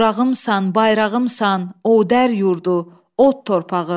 Novrağımsan, bayrağımsan, Odər yurdu, od torpağı.